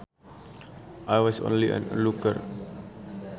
I was only an onlooker